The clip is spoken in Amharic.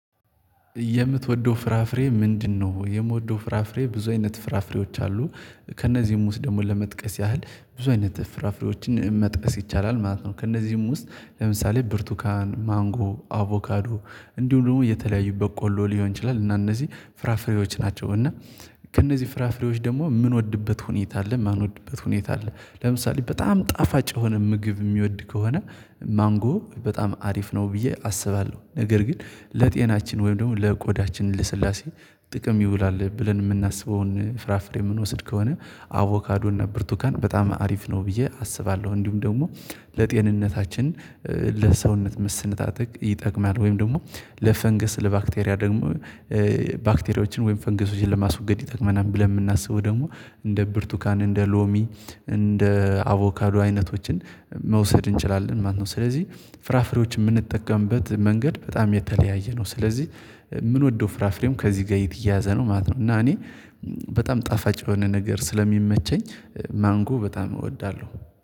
የምትወደው ፍራፍሬ ምንድነው? የምወደው ፍራፍሬ ብዙ አይነት ፍራፍሬዎች አሉ ከእነዚህም ውስጥ ደግሞ ለመጥቀስ ያህል ብዙ አይነት ፍራፍሬዎችን መጥቀስ ይቻላል ማለት ነው ከእነዚህም ውስጥ ለምሳሌ ብርቱካን ማንጎ አቮካዶ እንዲሁም ደግሞ የተለያዩ በቆሎ ሊሆን ይችላል እና እነዚህ ፍራፍሬዎች ናቸው እና ከእነዚህ ፍራፍሬዎች ደግሞ የምንወድበት ሁኔታ አለ የማንወድበት ሁኔታ አለ ለምሳሌ በጣም ጣፋጭ የሆነ ምግብ የሚወድ ከሆነ ማንጎ በጣም አሪፍ ነው ብዬ አስባለሁ ነገር ግን ለጤናችን ወይም ደግሞ ለቆዳችን ለስላሴ ጥቅም ይውላል ብለን የምናስበውን ፍራፍሬ የምንወስድ ከሆነ አቮካዶ እና ብርቱካን በጣም አሪፍ ነው ብዬ አስባለሁ እንዲሁም ደግሞ ለጤንነታችን ለሰውነት መሰነጣጠቅ ይጠቅማል ወይም ደግሞ ለፈንገስ ለባክቴሪያ ደግሞ ባክቴሪያዎችን ወይም ፈንገሶችን ለማስወገድ ይጠቅመናል ብለን የምናስበው ደግሞ እንደ ብርቱካን እንደ ሎሚ እንደ አቮካዶ አይነቶችን መውሰድ እንችላለን ማለት ነው ስለዚህ ፍራፍሬዎች የምንጠቀምበት መንገድ በጣም የተለያየ ነው ስለዚህ ምንወደው ፍራፍሬም ከዚህ ጋር የተየያዘ ነው ማለት ነው እና እኔ በጣም ጣፋጭ የሆነ ነገር ስለሚመቸኝ ማንጎ በጣም እወዳለሁ